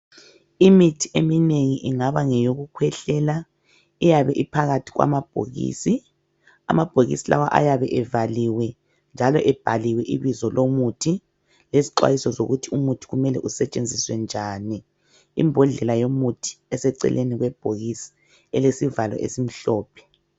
Imithi eminengi ingaba ngeyokukhwehlela iyabe iphakathi kwamabhokisi. Amabhokisi lawa ayabe evaliwe njalo ebhaliwe ibizo lomuthi lezixwayiso zokuthi umuthi kumele usetshenziswe njani. Imbodlela yomuthi eseceleni kwebhokisi elesivalo esimhlophe.